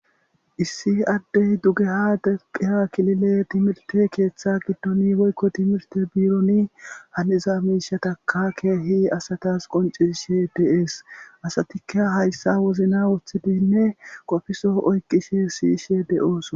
Issi addey dugeha desphiha kilile timirte keeththa giddoni boykko timirte biironi haniza miishataka keehi asatas qoncisishe deees asatikka hayssa wozna woththidinne qofiso oyqishe siyishe de7ooso.